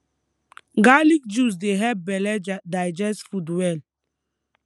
garlic juice dey help belle di digest food well